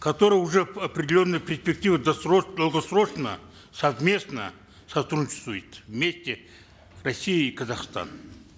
которые уже определенные перспективы досрочно долгосрочно совместно вместе россия и казахстан